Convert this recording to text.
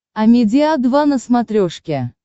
амедиа два на смотрешке